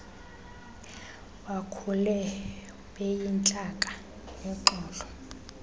bakhule beyintlaka nexolo